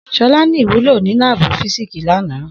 Shola ni iwulo ni laabu fisiksi lana.